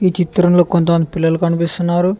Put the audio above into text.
చిత్రంలో కొంత మంది పిల్లలు కనిపిస్తున్నారు.